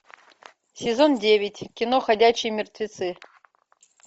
сезон девять кино ходячие мертвецы